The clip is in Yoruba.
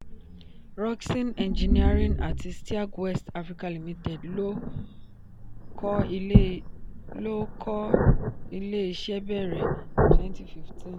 rockson engineering àti steag west africa limited ló kọ ilé iṣẹ́ bẹ̀rẹ twenty fifteen